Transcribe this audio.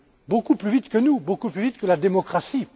beaucoup plus vite que nous et beaucoup plus vite que la démocratie.